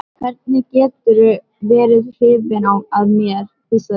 Hvernig geturðu verið hrifinn af mér? hvíslaði hún.